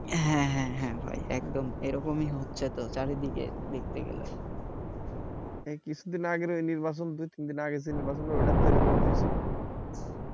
হ্যাঁ হ্যাঁ হ্যাঁ ভাই একদম এরকমে হচ্ছে চারদিকে দেখছি এগুলা কিছু দিন আগে নির্বাচন হলো হটাতে এরকম হইছিলো